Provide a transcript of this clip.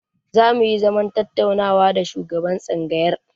Zamu yi zaman tattaunawa da shugaban tsangayar.